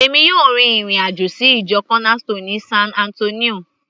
èmi yóò rin ìrìn àjò sí ìjọ corner stone ní san Antonio